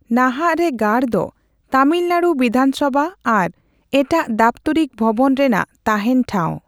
ᱱᱟᱦᱟᱜ ᱨᱮ ᱜᱟᱲ ᱫᱚ ᱛᱟᱢᱤᱞᱱᱟᱲᱩ ᱵᱤᱫᱷᱟᱱᱥᱚᱵᱷᱟ ᱟᱨ ᱮᱴᱟᱜ ᱫᱟᱯᱛᱚᱨᱤᱠ ᱵᱷᱚᱵᱚᱱ ᱨᱮᱱᱟᱜ ᱛᱟᱸᱦᱮᱱ ᱴᱷᱟᱸᱣ ᱾